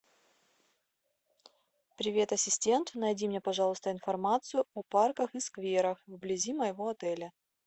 привет ассистент найди мне пожалуйста информацию о парках и скверах вблизи моего отеля